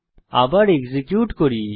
আবার এক্সিকিউট করি